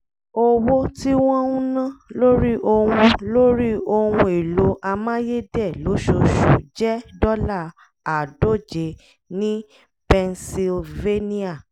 owó tí wọ́n ń ná lórí ohun lórí ohun èlò amáyédẹ̀ lóṣooṣù jẹ́ dọ́là àádóje ní pennsylvania